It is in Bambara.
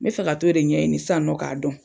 N be fɛ ka t'o de ɲɛɲini san nɔ k'a dɔn